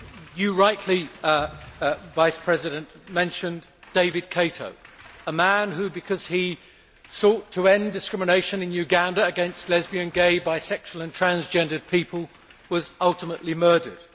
You rightly, Vice President, mentioned David Kato, a man who because he sought to end discrimination in Uganda against lesbian, gay, bisexual, and transgender people was ultimately murdered